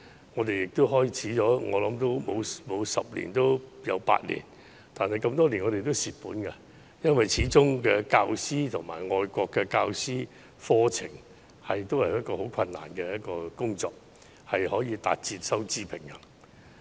我想有關課程已經辦了十年八載，但多年來我們都是虧蝕的，因為始終任用教師以至教授課程，都是很困難的工作，難以達至收支平衡。